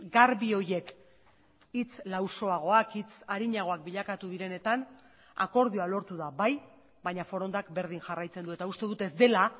garbi horiek hitz lausoagoak hitz arinagoak bilakatu direnetan akordioa lortu da bai baina forondak berdin jarraitzen du eta uste dut ez dela